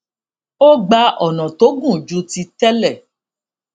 ó gba ònà tó gùn ju ti télè